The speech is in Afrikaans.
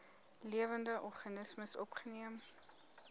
lewende organismes opgeneem